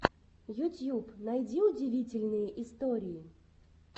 ютьюб найди удивительные истории